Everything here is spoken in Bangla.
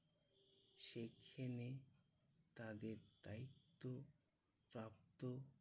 সেইখানে তাদের দায়িত্ব প্রাপ্ত